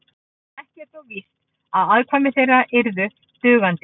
ekki er þó víst að afkvæmi þeirra yrðu dugandi